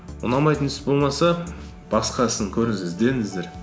ұнамайтын іс болмаса басқа ісін көріңіз іздеңіздер